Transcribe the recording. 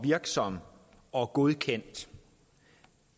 virksom og godkendt